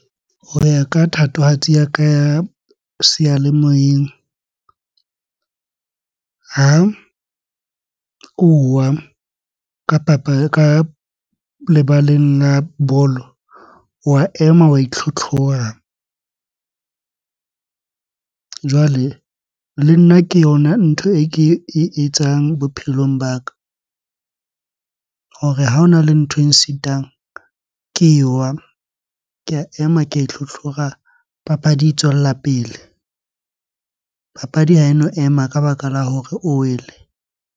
Ho ya ka thatohatsi ya ka ya seyalemoyeng. Ha o wa ka ka lebaleng la bolo, wa ema wa itlhotlhora. Jwale, le nna ke yona ntho e ke e etsang bophelong ba ka. Hore ha hona le ntho e sitang, ke wa. Ke a ema ke ya itlhotlhora, papadi e tswella pele. Papadi ha eno ema ka baka la hore o wele.